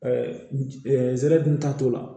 nsɛrɛ dun ta t'o la